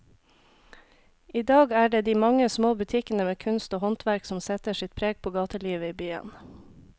I dag er det de mange små butikkene med kunst og håndverk som setter sitt preg på gatelivet i byen.